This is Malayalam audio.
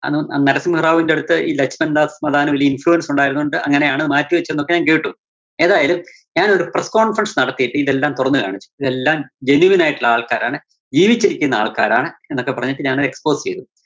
അന്ന് ന~നരസിംഹറാവുവിന്റെ അടുത്ത് ഈ ലെസ്സൺ ദാസ് മദാനു വലിയ influence ഉണ്ടായിരുന്നതുകൊണ്ട് അങ്ങനെയാണ് മാറ്റിവെച്ചത് എന്നൊക്കെ ഞാൻ കേട്ടു. ഏതായാലും ഞാനൊരു press conference നടത്തിയിട്ട് ഇതെല്ലാം തുറന്നു കാണിച്ചു. ഇതെല്ലാം genuine ആയിട്ടുള്ള ആൾക്കാരാണ്, ജീവിച്ചിരിക്കുന്ന ആൾക്കാരാണ് എന്നൊക്കെ പറഞ്ഞിട്ട് ഞാൻ അത് expose ചെയ്‌തു.